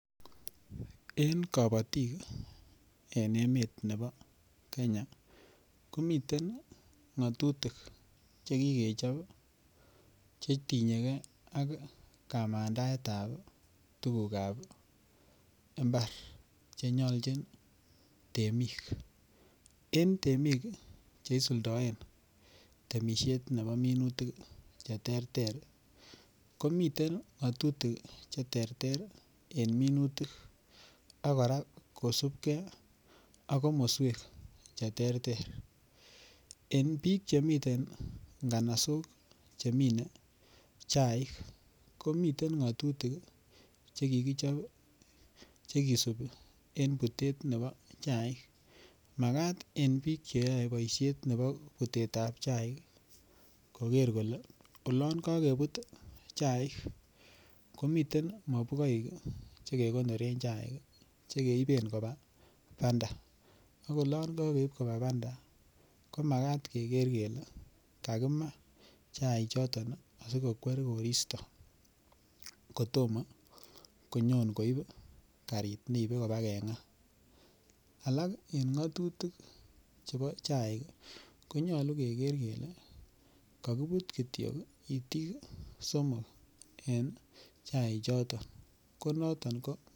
En kabatik en emet nebo Kenya ko miten ngatutik Che kikechob Che tinye ak kamandaetab tuguk ab mbar Che nyolchin temik Che isuldoen temisiet nebo minutik Che terter komiten ngatutik Che terter en minutik ak kora kosubge ak komoswek Che terter en bik chemii nganasok chemine chaik komiten ngatutik Che kikichob Che kisubi en Butet nebo chaik Makat en bik Che isuldoen boisiet nebo butetab chaik koger kole chaik komiten mabugoik Che kegonoren chaik Che keiben koba banda ak olon kogeib koba banda komakat keger kele kakimaa chaichoton asikokwer koristo kotomo konyon koib karit neibe konyon koba nga alak en ngatutik chebo chaik ko nyolu keger kele kakibut Kityo itik somok en chaichoton ko noton ko